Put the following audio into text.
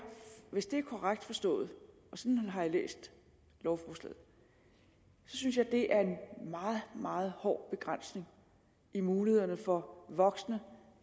hvis det er korrekt forstået og sådan har jeg læst lovforslaget synes jeg at det er en meget meget hård begrænsning i mulighederne for voksne